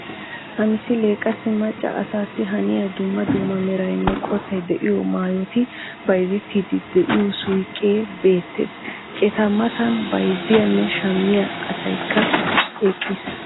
Ha misilee qassi macca asaassi haniya dumma dumma meraynne qottay de"iyo maayoti bayzettiiddi de'iyo suyiqee beettees Eta matan bayzziyanne shammiya asaykka eqqiis